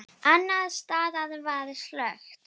Annars staðar var slökkt.